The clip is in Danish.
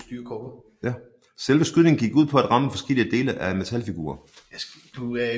Selve skydningen gik ud på at ramme forskellige dele af en metalfigur